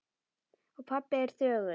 Og pabbi er þögull.